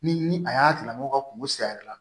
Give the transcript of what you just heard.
Ni a y'a tigila mɔgɔ ka kungo si yɛrɛ la